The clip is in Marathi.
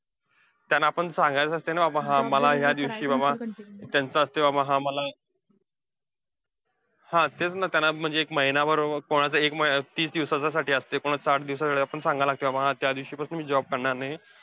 त्यांना आपण सांगायचं असतंय, ना बाबा हा मला ह्या दिवशी बाबा त्यांचं असतंय बाबा हा मला हा. तेच ना, त्यांना म्हणजे एक महिनाभर, कोणाचं तीस दिवसाच्या साठी असतंय, कोणाचं साठ दिवसासाठी. आपल्याला सांगायला लागतंय. हा त्या दिवसापासून मी job करणार नाहीये.